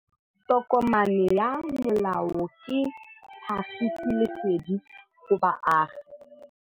Tokomane ya molao ke tlhagisi lesedi go baagi.